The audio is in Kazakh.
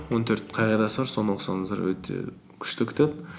он төрт қағидасы бар соны оқысаңыздар өте күшті кітап